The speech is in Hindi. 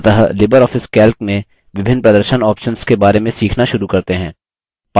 अतः libreoffice calc में विभिन्न प्रदर्शन options के बारे में सीखना शुरू करते हैं